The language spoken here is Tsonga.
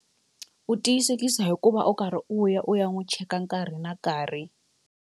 U tiyisekisa hikuva u karhi u ya u ya n'wu cheka nkarhi na nkarhi.